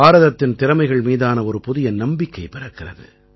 பாரதத்தின் திறமைகள் மீதான ஒரு புதிய நம்பிக்கை பிறக்கிறது